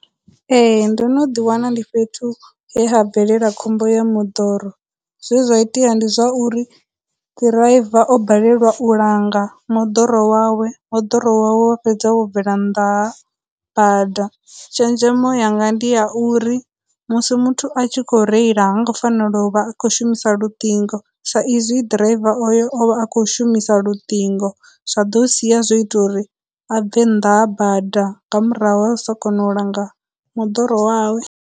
Ee, ndo no ḓi wana ndi fhethu he ha bvelela khombo ya moḓoro, zwe zwa itea ndi zwa uri driver o balelwa u langa moḓoro wawe, moḓoro wa wa fhedza wo bvela nnḓa ha bada. Tshenzhemo yanga ndi ya uri, musi muthu a tshi kho reila hango fanela u vha a khou shumisa luṱingo, sa izwi driver oyo o vha a khou shumisa luṱingo, zwa ḓo sia zwo ita uri a bve nnḓa ha bada nga murahu ha u sa kona u langa moḓoro wawe.